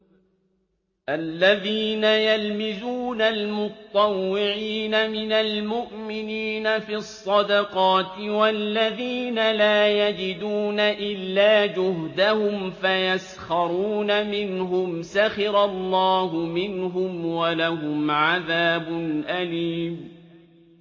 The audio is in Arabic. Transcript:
الَّذِينَ يَلْمِزُونَ الْمُطَّوِّعِينَ مِنَ الْمُؤْمِنِينَ فِي الصَّدَقَاتِ وَالَّذِينَ لَا يَجِدُونَ إِلَّا جُهْدَهُمْ فَيَسْخَرُونَ مِنْهُمْ ۙ سَخِرَ اللَّهُ مِنْهُمْ وَلَهُمْ عَذَابٌ أَلِيمٌ